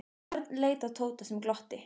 Örn leit á Tóta sem glotti.